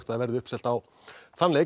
verði uppselt á leikinn